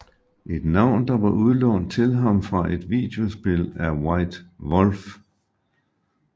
Et navn der var udlånt til ham fra et videospil af White Wolf